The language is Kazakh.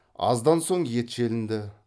аздан соң ет желінді